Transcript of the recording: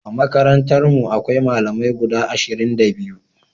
A makarantarmu akwai Malamai guda ashirin da biyu.